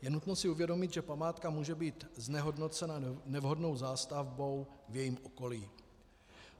Je nutno si uvědomit, že památka může být znehodnocena nevhodnou zástavbou v jejím okolí.